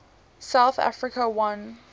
south africa won